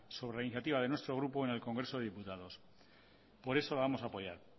sobre iniciativa de nuestro grupo en el congreso de diputados por eso la vamos a apoyar